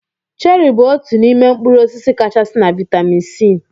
Cheri bụ otú n'ime mkpụrụ osisi kachasị na vitamin C.